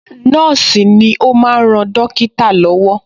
Nọ́ọ̀sì ni ó máa ń ran dọ́kítà lọ́wọ́